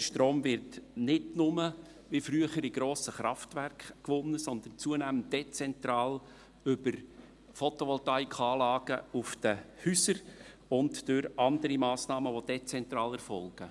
Der Strom wird nicht nur, wie früher, in grossen Kraftwerken gewonnen, sondern zunehmend dezentral über Photovoltaikanlagen auf den Häusern und durch andere Massnahmen, die dezentral erfolgen.